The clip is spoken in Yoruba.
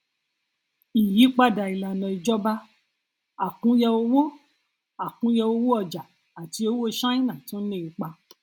ìyípadà ìlànà ìjọba àkúnya owó àkúnya owó ọjà àti owó ṣáínà tún ní ipa